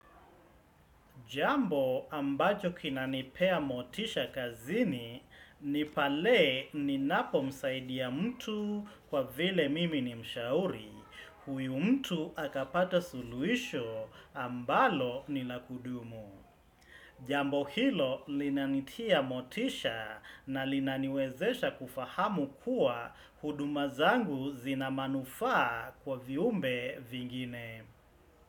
Jambo ambacho kinanipea motisha kazini ni pale ninapo msaidia mtu kwa vile mimi ni mshauri. Huyo mtu akapata suluhisho ambalo ni lakudumu. Jambo hilo linanitia motisha na linaniwezesha kufahamu kuwa huduma zangu zinamanufaa kwa viumbe vingine.